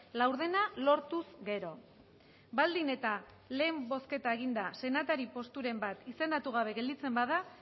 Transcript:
laurdena lortuz gero baldin eta lehen bozketa eginda senatari posturen bat izendatu gabe gelditzen bada